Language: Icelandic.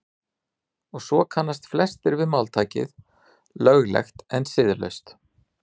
og svo kannast flestir við máltækið „löglegt en siðlaust“